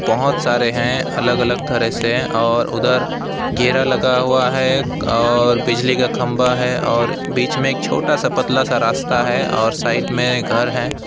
बहुत सारे हैं अलग अलग तरह से हैं और उधर घेरा लगा हुआ है और बिजली का खंभा है और बीच में एक छोटा सा पतला सा रास्ता है और साइड में घर है।